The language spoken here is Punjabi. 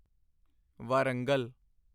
ਵਾਰੰਗਲ